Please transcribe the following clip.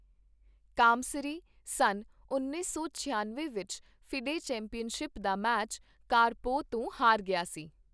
Kamsky ਸੰਨ ਉੱਨੀ ਸੌ ਛਿਆਨਵੇਂ ਵਿੱਚ ਫੀਡੇ ਚੈਂਪੀਅਨਸ਼ਿਪ ਦਾ ਮੈਚ ਕਾਰਪੋਵ ਤੋਂ ਹਾਰ ਗਿਆ ਸੀ।